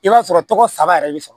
I b'a sɔrɔ tɔgɔ saba yɛrɛ bi sɔrɔ